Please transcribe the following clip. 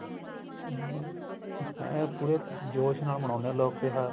ਹਮ ਐਂ ਪੂਰੇ ਜੋਸ਼ ਨਾਲ ਮੰਨਾਉਂਦੇ ਏ ਲੋਕ ਤਿਉਹਾਰ